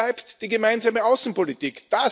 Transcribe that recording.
Wo bleibt die gemeinsame Außenpolitik?